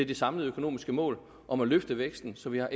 det samlede økonomiske mål om at løfte væksten så vi har